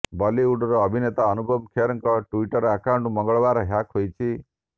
ବଲିଉଡର ଅଭିନେତା ଅନୁପମ ଖେରଙ୍କ ଟୁଇଟର ଆକାଉଣ୍ଟ ମଙ୍ଗଳବାର ହ୍ୟାକ୍ ହୋଇଛି